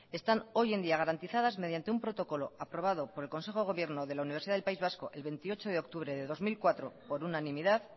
están hoy en día garantizadas mediante un protocolo aprobado por el consejo de gobierno de la universidad del país vasco el veintiocho de octubre de dos mil cuatro por unanimidad